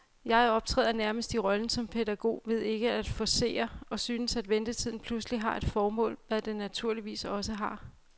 Jeg optræder nærmest i rollen som pædagog ved ikke at forcere, og synes, at ventetiden pludselig har et formål, hvad den naturligvis også har.